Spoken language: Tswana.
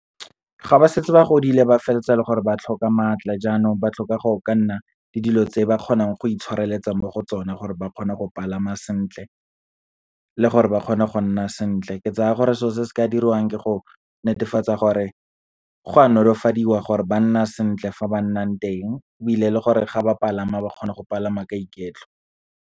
Ga ba setse ba godile ba feleletsa le gore ba tlhoka maatla, jaanong ba tlhoka go ka nna le dilo tse ba kgonang go itshwareletsa mo go tsona gore ba kgone go palama sentle, le gore ba kgone go nna sentle. Ke tsaya gore, selo se se ka diriwang ke go netefatsa gore go a nolofadiwa gore ba nna sentle fa ba nnang teng, ebile le gore ga ba palama ba kgona go palama ka iketlo.